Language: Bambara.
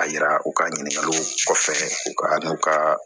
A yira u ka ɲininkaliw kɔfɛ u ka n'u ka